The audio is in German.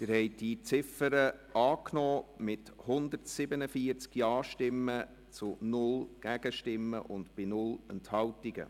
Sie haben die Ziffer 1 angenommen mit 147 Ja- gegen 0 Nein-Stimmen bei 0 Enthaltungen.